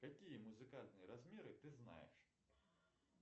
какие музыкальные размеры ты знаешь